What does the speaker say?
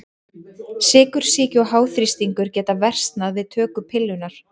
Sykursýki og háþrýstingur geta versnað við töku pillunnar.